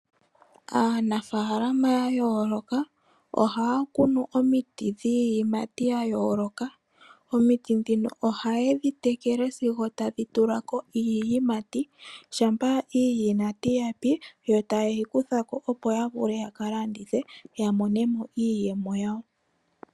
Aanafalama yayoloka ohakunu omiti dhiyimati yayoloka omiti dhino oha yedhitekele sigo tadhitulako iiyimati shapa iiyimati yapi yo tayeyi kuthako opo yavule yakalandithe yamonemo iiyemo yawo.